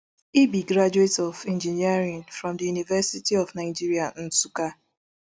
e be graduate of engineering from di university of nigeria nsukka